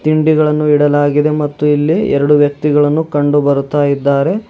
ತಿಂಡಿಗಳನ್ನು ಇಡಲಾಗಿದೆ ಮತ್ತು ಇಲ್ಲಿ ಎರಡು ವ್ಯಕ್ತಿಗಳನ್ನು ಕಂಡು ಬರುತ್ತಾಯಿದ್ದಾರೆ.